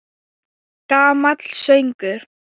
Gamall söngur!